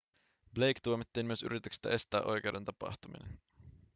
blake tuomittiin myös yrityksestä estää oikeuden tapahtuminen